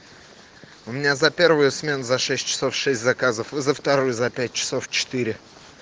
у меня за первую смену за шесть часов шесть заказов и за вторую за пять часов четыре